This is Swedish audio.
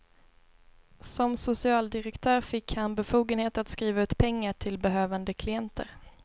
Som socialdirektör fick han befogenhet att skriva ut pengar till behövande klienter.